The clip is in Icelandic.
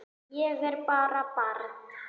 Ég er bara barn.